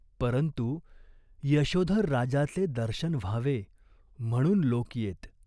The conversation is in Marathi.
परंतु यशोधर राजाचे दर्शन व्हावे म्हणून लोक येत.